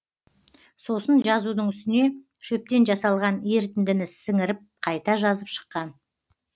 сосын жазудың үстіне шөптен жасалған ерітіндіні сіңіріп қайта жазып шыққан